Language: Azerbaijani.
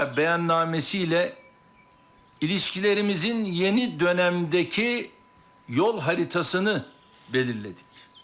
Şuşa bəyannaməsi ilə əlaqələrimizin yeni dönəmdəki yol xəritəsini müəyyən etdik.